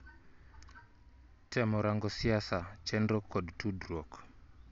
Temo rango siasa, chenro kod tudruok